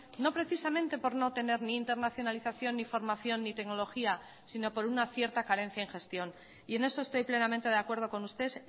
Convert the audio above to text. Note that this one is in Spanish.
no precisamente por no tener ni internacionalización ni formación ni tecnología sino por una cierta carencia en gestión y en eso estoy plenamente de acuerdo con usted